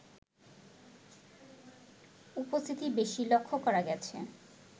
উপস্থিতি বেশী লক্ষ্য করা গেছে